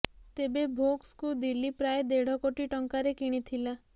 ତେବେ ଭୋକ୍ସଙ୍କୁ ଦିଲ୍ଲୀ ପ୍ରାୟ ଦେଢ କୋଟି ଟଙ୍କାରେ କିଣିଥିଲା